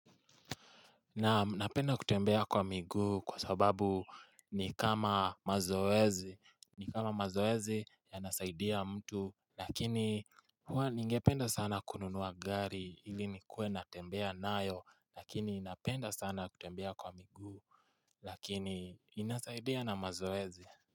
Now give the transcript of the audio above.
Naam napenda kutembea kwa miguu kwa sababu ni kama mazoezi ni kama mazoezi yanasaidia mtu Lakini huwa ningependa sana kununua gari ili nikuwe natembea nayo lakini napenda sana kutembea kwa migu lakini inasaidia na mazoezi.